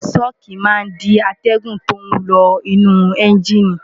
ṣọ́ọ̀kì máa ń dí atẹ́gùn tó ń lọ inú ẹ́ńjìnì